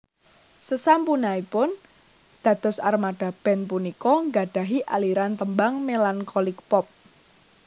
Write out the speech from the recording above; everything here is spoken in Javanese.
Sesampunaipun dados Armada band punika nggadhahi aliran tembang Melancholic Pop